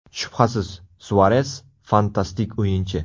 Shubhasiz, Suares – fantastik o‘yinchi.